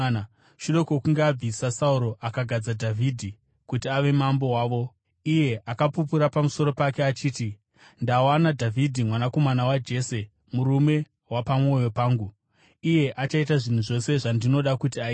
Shure kwokunge abvisa Sauro, akagadza Dhavhidhi kuti ave mambo wavo. Iye akapupura pamusoro pake achiti, ‘Ndawana Dhavhidhi mwanakomana waJese murume wapamwoyo pangu; iye achaita zvinhu zvose zvandinoda kuti aite.’